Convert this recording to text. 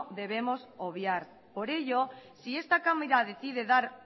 debemos obviar por ello si esta cámara decide dar